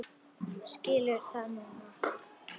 Skilur það núna.